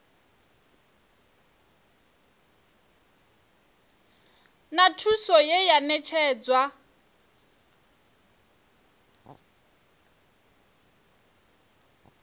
na thuso ye ya ṋetshedzwa